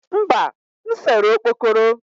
mba, m sere okpokoro